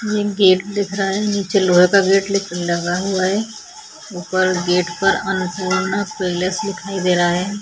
ये गेट दिख रहा है निचे लोहे का गेट ली खुला हुआ है ऊपर गेट पर अनपूर्णा पिलर्स दिखाई दे रहा है।